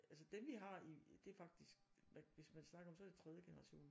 Altså dem vi har i det faktisk hvis man snakker om så det tredje generation